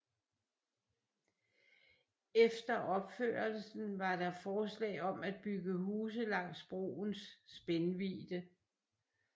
Efter opførelsen var der forslag om at bygge huse langs broens spændvidde